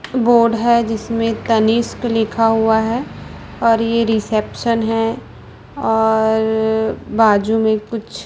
board है जिसमें तनिष्क लिखा हुआ है और ये रिसेप्शन है और रर बाजू में कुछ --